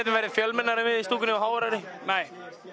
verði fjölmennari en við í stúkunni og háværari nei